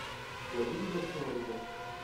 у тебя будет большая руда